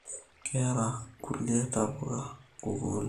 Keyara nkulie tapuka nkukunik